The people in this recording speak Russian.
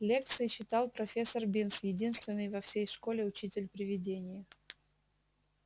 лекции читал профессор бинс единственный во всей школе учитель-привидение